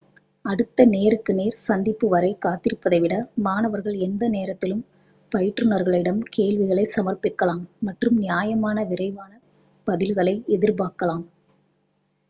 அடுத்த நேருக்கு நேர் சந்திப்பு வரை காத்திருப்பதை விட மாணவர்கள் எந்த நேரத்திலும் பயிற்றுனர்களிடம் கேள்விகளை சமர்ப்பிக்கலாம் மற்றும் நியாயமான விரைவான பதில்களை எதிர்பார்க்கலாம்